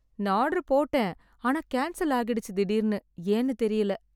நான் ஆர்டர் போட்டேன் ஆனா கேன்சல் ஆகிடுச்சு திடிருனு ஏன்னு தெரியல